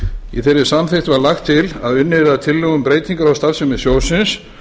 í þeirri samþykkt var lagt til að unnið yrði að breytingum á starfsemi sjóðsins